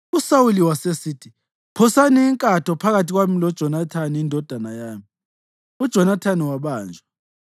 USawuli wasesithi, “Phosani inkatho phakathi kwami loJonathani indodana yami.” UJonathani wabanjwa.